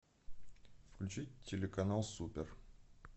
включить телеканал супер